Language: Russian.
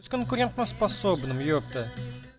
с конкурентно способным епта